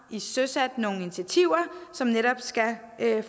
søsat nogle initiativer som netop skal